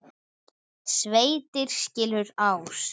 Sveitir skilur ás.